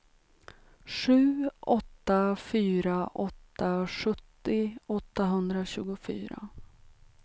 sju åtta fyra åtta sjuttio åttahundratjugofyra